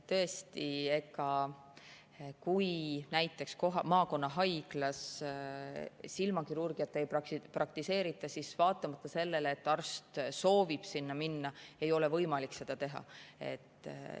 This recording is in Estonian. Tõesti, kui näiteks maakonnahaiglas silmakirurgiat ei praktiseerita, siis vaatamata sellele, et arst soovib sinna minna, ei ole võimalik seda teha.